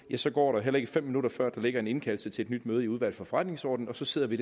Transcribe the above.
så går der heller ikke fem minutter før der ligger en indkaldelse til et nyt møde i udvalget for forretningsordenen og så sidder vi